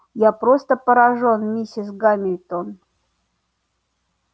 я просто поражён миссис гамильтон